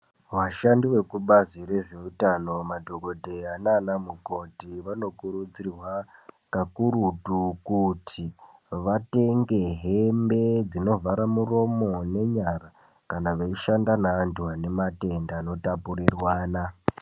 Vashandi vekubazi rezveutano, madhokodheya nanamukoti vanokurudzirwa kakurutu kuti vatenge hembe dzinovhara muromo nenyara. Kana veishanda nevantu vane matenda anotapurirwana.